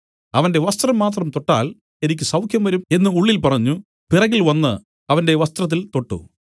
അവന്റെ വസ്ത്രം മാത്രം ഒന്ന് തൊട്ടാൽ എനിക്ക് സൌഖ്യംവരും എന്നു ഉള്ളിൽ പറഞ്ഞു പിറകിൽ വന്നു അവന്റെ വസ്ത്രത്തിൽ തൊട്ടു